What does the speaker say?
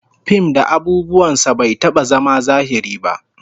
Fim da abubuwan sa bai taba zama zahiri ba